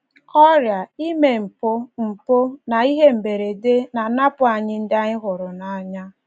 Ọrịa, ime mpụ, mpụ, na ihe mberede na - anapụ anyị ndị anyị hụrụ n’anya.